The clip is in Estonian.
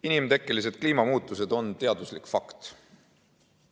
Inimtekkelised kliimamuutused on teaduslik fakt.